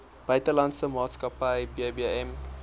buitelandse maatskappy bbm